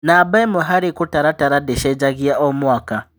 Namba ĩmwe harĩ kũtaratara ndĩcenjagia o mwaka.